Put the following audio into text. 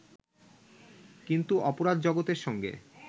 কিন্তু অপরাধ-জগতের সঙ্গে